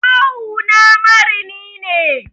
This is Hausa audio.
Kawuna marini ne.